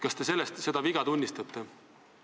Kas te seda viga tunnistate?